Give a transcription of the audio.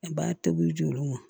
A b'a tobi jɔ olu ma